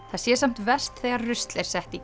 það sé samt verst þegar rusl er sett í